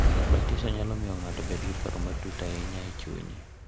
Batiso nyalo miyo ng’ato obed gi paro matut ahinya e chunye.